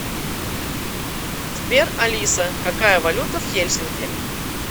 сбер алиса какая валюта в хельсинки